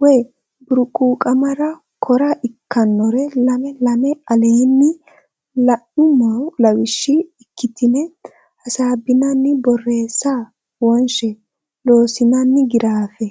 way burquuqamara kora ikkannore lame lame aleenni la nummo lawishshi ikkitine hasaabinanni borreesse wonshe Loossinanni Giraafe.